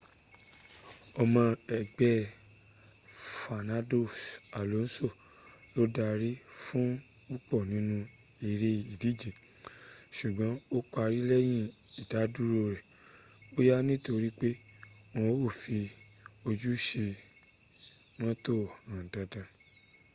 ọmọ egbẹ́ rẹ̀ fenando alonso ló darí fún púpọ̀ nínú ere ìdíjé ṣùgbọ́n ó parí lẹ́yìn ìdádúro re bóyá nítorí pé wọn ò fí ojúẹsẹ̀ṣ mọ́tò há dada